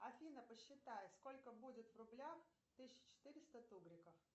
афина посчитай сколько будет в рублях тысяча четыреста тугриков